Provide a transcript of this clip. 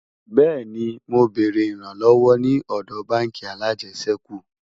bẹẹni, mọ bèrè ìran lówó ní òdò bánkì alàjesèkú